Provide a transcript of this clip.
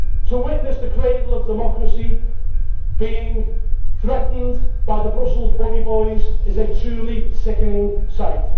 To witness the cradle of democracy being threatened by the Brussels bully boys is a truly sickening sight.